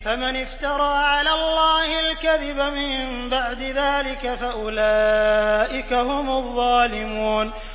فَمَنِ افْتَرَىٰ عَلَى اللَّهِ الْكَذِبَ مِن بَعْدِ ذَٰلِكَ فَأُولَٰئِكَ هُمُ الظَّالِمُونَ